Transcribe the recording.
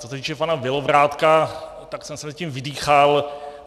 Co se týče pana Bělobrádka, tak jsem se zatím vydýchal.